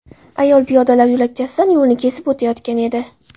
Ayol piyodalar yo‘lakchasidan yo‘lni kesib o‘tayotgan edi.